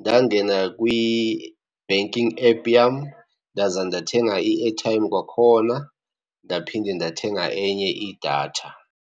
ndangena kwi-banking app yam ndaza ndathenga i-airtime kwakhona ndaphinde ndathenga enye idatha.